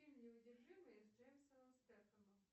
фильм неудержимые с джейсоном стэтхэмом